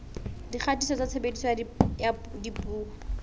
dikgatiso tsa tshebediso ya dipuo